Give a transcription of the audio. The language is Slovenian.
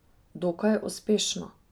Dokaj uspešno.